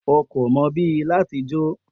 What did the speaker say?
O ko mo bi lati jo.